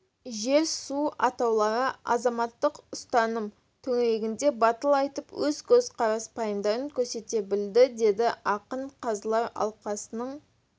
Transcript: жер-су атаулары азаматтық ұстаным төңірегінде батыл айтып өз көзқарас-пайымдарын көрсете білді деді ақын қазылар алқасының